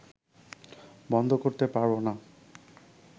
বন্ধ করতে পারব না